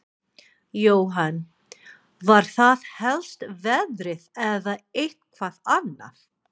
Jóhann: Var það helst veðrið eða eitthvað annað?